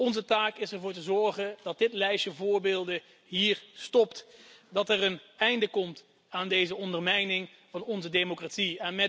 Onze taak is het ervoor te zorgen dat dit lijstje voorbeelden hier stopt, dat er een einde komt aan deze ondermijning van onze democratie.